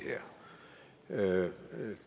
her